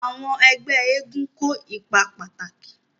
Àwọn ẹgbẹ́ eégún kó ipa pàtàkì.